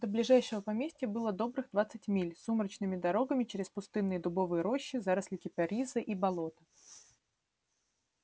до ближайшего поместья было добрых двадцать миль сумрачными дорогами через пустынные дубовые рощи заросли кипариса и болота